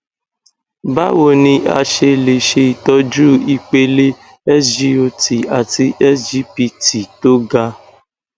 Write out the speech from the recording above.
báwo ni a ṣe lè ṣe itọju ipele sgot àti sgpt tó ga